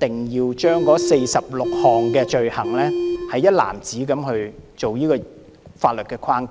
定要把這46項罪類一籃子納入法律框架。